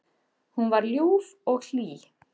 Hún var ljúf og hlý.